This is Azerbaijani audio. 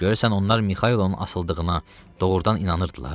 Görəsən onlar Mikayılın asıldığına doğurdan inanırdılar?